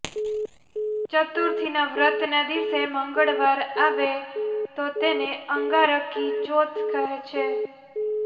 ચતુર્થીના વ્રતના દિવસે મંગળવાર આવે તો તેને અંગારકી ચોથ કહે છે